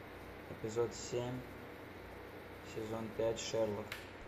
эпизод семь сезон пять шерлок